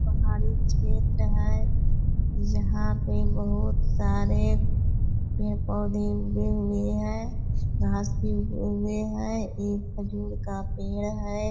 पहाड़ी क्षेत्र है यहाँ पे बहुत सारे पेड़-पौधे उगे हुए हैं घास भी उगे हैं एक खजूर का पेड़ है ।